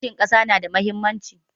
Kishin ƙasa na da muhimmanci